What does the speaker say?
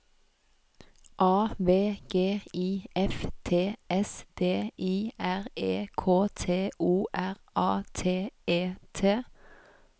A V G I F T S D I R E K T O R A T E T